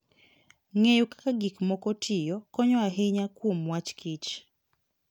Ng'eyo kaka gik moko tiyo konyo ahinya kuom wach kich.